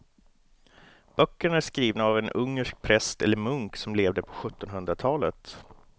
Böckerna är skrivna av en ungersk präst eller munk som levde på sjuttonhundratalet.